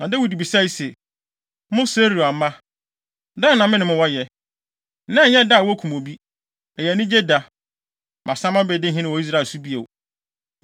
Na Dawid bisae se, “Mo Seruia mma, dɛn na me ne mo wɔ yɛ? Nnɛ nyɛ da a wokum obi. Ɛyɛ anigye da! Masan mabedi hene wɔ Israel so bio!”